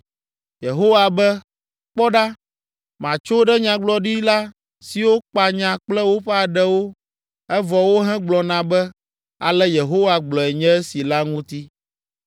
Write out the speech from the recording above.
Yehowa be, “Kpɔ ɖa, matso ɖe nyagblɔɖila siwo kpa nya kple woƒe aɖewo, evɔ wohegblɔna be, ‘Ale Yehowa gblɔe nye esi’ la ŋuti.